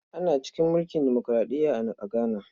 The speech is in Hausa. Ana cikin mulkin demokuraɗiya a Ghana.